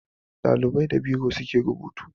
Ɗalibai da biro suke rubutu